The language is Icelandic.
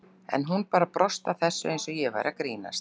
En hún bara brosti að þessu eins og ég væri að grínast.